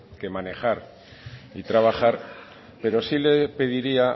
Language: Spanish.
que manejar y trabajar pero sí le pediría